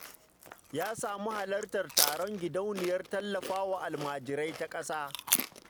Ya samu halartar taron gidauniyar tallafa wa almajirai ta ƙasa